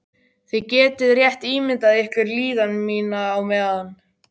Þið getið rétt ímyndað ykkur líðan mína á meðan.